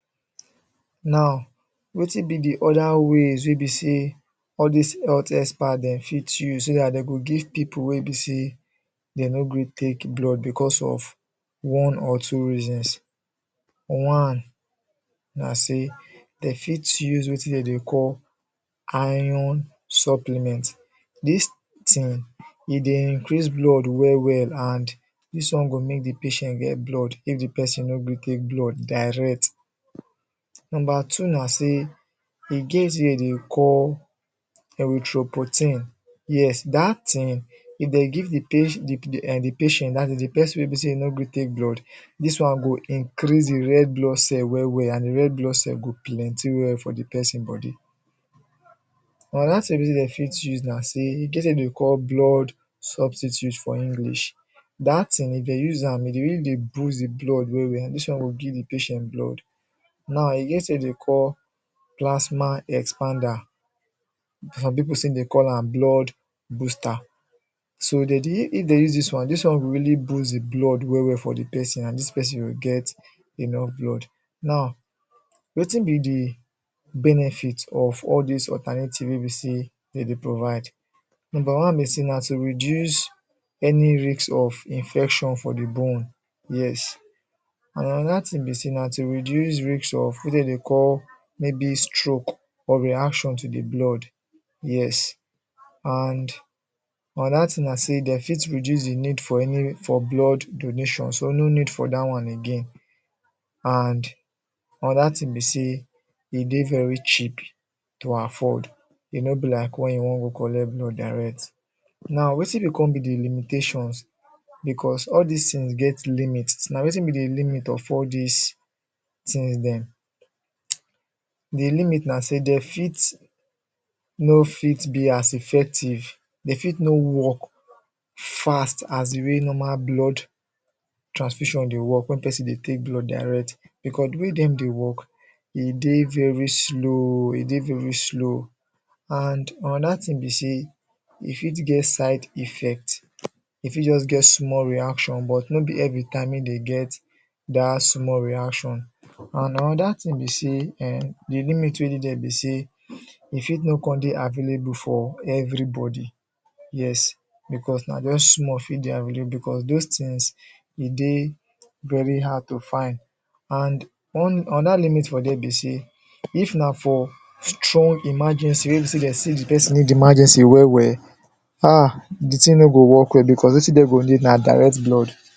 Now, wetin be the other ways wey be sey all these health experts dem fit use so that den go give people wey be sey dem no gree take blood because of one or two reasons One, na sey dem fit use wetin dem dey call iron supplements This thing, e dey increase blood well well, and this one go make the patient get blood is the person no gree take blood direct. Number two na sey, e get wetin dem dey call Erythropoietin. That thing, if dem give the patient, that is the person wey be sey e nor gree take blood that one go increase the red blood cells well well and the red blood cells go plenty for the person body Another thing wey be sey dem fit use be sey e get wetin dem dey call blood substitute for English That thing, if dem use am, e dey really dey boost the blood well well, and this one go give the patient blood Now, e get wetin dem dey call plasma expander. Some people still dey call am blood boost So if dem use this one, e go really boost the blood for the person and the person go get enough blood Now, wetin be the benefit of all these alternative wey be sey dem dey provide? Number one na to reduce any risk of infection for the bone. Yes And another thing na to reduce risk of wetin dem dey call maybe stroke, or reaction to the blood, yes. And another thing na sey den fit reduce the risk for blood donation so no need for that one again, and another thing be sey e dey very cheap to afford, e no be like when you wan go collect blood direct Now, wetin come be the limitations, because all this things get limit, na wetin be the limit of all these things them? The limit na sey dem fit no fit be as effective, dem fit no work fast as the way normal blood transfusion dey work, when person dey take blood direct, because di way den dey work, e dey very slow and another thing be sey, e fit get side effects, e fit just get small reaction, but no be everytime e dey get that small reaction and another thing be sey eh, the limit wey dey there be sey e fit no come dey available for everybody, yes. Because na just small fit dey available because those things, e dey very hard to find, and another limit for them be sey if na for strong emergency wey be sey dem sey the person need emergency well well,